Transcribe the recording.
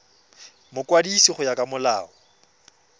mokwadisi go ya ka molao